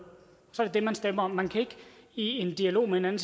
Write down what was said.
er det det man stemmer om man kan ikke i en dialog med en anden